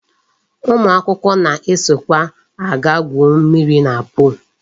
Ụmụ akwụkwọ na-esokwa aga gwuo mmiri na pol.